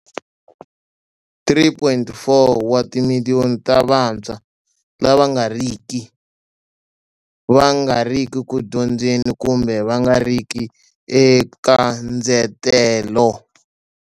3.4 wa timiliyoni ta vantshwa lava nga tirhiki, va nga riki ku dyondzeni kumbe va nga riki eka ndzetelo.